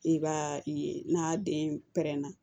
I b'a ye n'a den pɛrɛnna